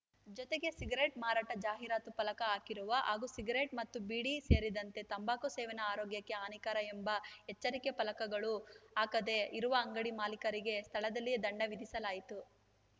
ಜೊತೆಗೆ ಸಿಗರೇಟ್‌ ಮಾರಾಟ ಜಾಹೀರಾತು ಫಲಕ ಹಾಕಿರುವ ಹಾಗೂ ಸಿಗರೇಟ್‌ ಮತ್ತು ಬೀಡಿ ಸೇರಿದಂತೆ ತಂಬಾಕು ಸೇವನೆ ಆರೋಗ್ಯಕ್ಕೆ ಹಾನಿಕರ ಎಂಬ ಎಚ್ಚರಿಕೆ ಫಲಕಗಳು ಹಾಕದೇ ಇರುವ ಅಂಗಡಿ ಮಾಲೀಕರಿಗೆ ಸ್ಥಳದಲ್ಲಿಯೇ ದಂಡ ವಿಧಿಸಲಾಯಿತು